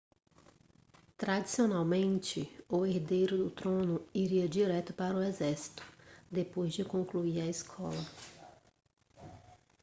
tradicionalmente o herdeiro do trono iria direto para o exército depois de concluir a escola